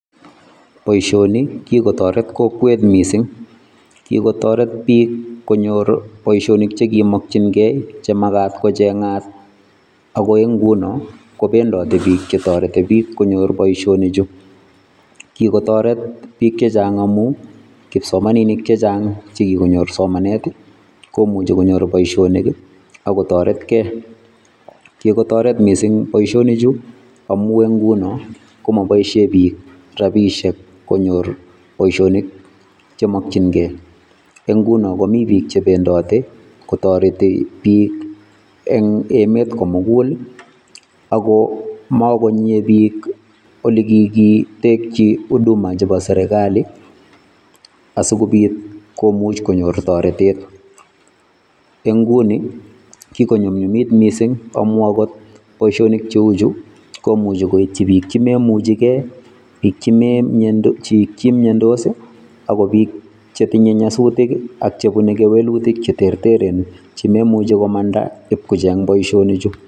Boishoni kikotoret kokwet mising, kikotoret biik konyor boishonik chekimokying'e chemakat kocheng'at akoi ing'unon kobendote biik chetoreti biik konyor boishonichu, kikotoret biik chechang amun kipsomaninik chechang che kikonyor somanet komuche konyor boishonik akotoretke, kikotoret mising boishonichu amun en ng'unon komoboishen biik rabishek konyor boishonik chemokying'e, eng' ng'unon komii biik chebendote kotoreti biik eng emet komukul ak ko mokonyie biik olekikitekyi huduma chebo serikali asikobiit komuch konyor toretet, eng' ng'uni kikonyumnyumit mising amun akot boishonik cheuchu komuche koityi biik chemomuchekee, biik chemiondos akot biik chetinye nyasutik ak chebune kewelutik cheterteren chemoimuche komanda iib kocheng boishoni chuu.